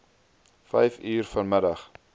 vyf uur vanmiddag